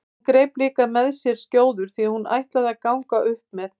Hún greip líka með sér skjóður því hún ætlaði að ganga upp með